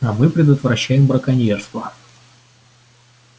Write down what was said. а мы предотвращаем браконьерство